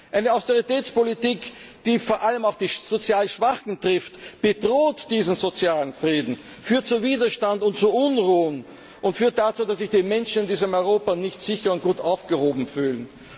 Eine Austeritätspolitik, die vor allem die sozial Schwachen trifft, bedroht diesen sozialen Frieden, führt zu Widerstand und zu Unruhen, und führt dazu, dass sich die Menschen in diesem Europa nicht sicher und gut aufgehoben fühlen.